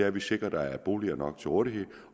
at vi sikrer at der er boliger nok til rådighed